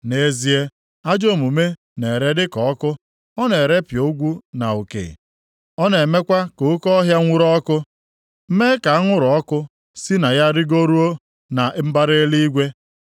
Nʼezie, ajọ omume na-ere dị ka ọkụ: ọ na-erepịa ogwu na uke, ọ na-emekwa ka oke ọhịa nwuru ọkụ, mee ka anwụrụ ọkụ si na ya rigoruo na mbara eluigwe.